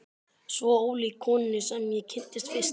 Svo ólík konunni sem ég kynntist fyrst.